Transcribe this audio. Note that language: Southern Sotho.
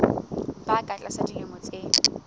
ba ka tlasa dilemo tse